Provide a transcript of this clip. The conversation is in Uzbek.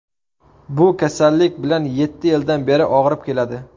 Bu kasallik bilan yetti yildan beri og‘rib keladi.